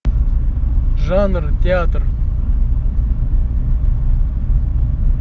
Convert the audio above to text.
жанр театр